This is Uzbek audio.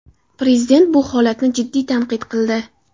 Prezident bu holatni jiddiy tanqid qildi.